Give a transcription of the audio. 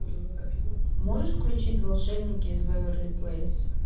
можешь включить волшебники из вэйверли плэйс